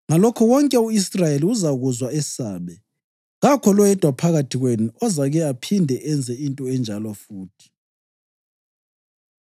Ngalokho wonke u-Israyeli uzakuzwa esabe, kakho loyedwa phakathi kwenu ozake aphinde enze into enjalo futhi.